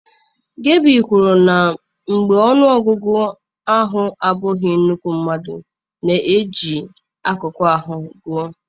Gabi kwuru na mgbe ọnụ ọgụgụ ahụ abụghị nnukwu mmadụ na-eji akụkụ ahụ ha gụọ.